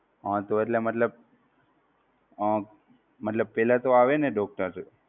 હા તો એટલે મતલબ અમ મતલબ પેહલા તો આવે ને doctor